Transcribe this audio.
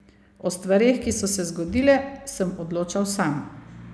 O stvareh, ki so se zgodile, sem odločal sam.